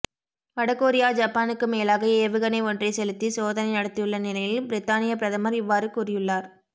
வடகொரியா ஜப்பானுக்கு மேலாக ஏவுகணை ஒன்றை செலுத்தி சோதனை நடத்தியுள்ள நிலையில் பிரித்தானிய பிரதமர் இவ்வாறு கூறியுள்ளார்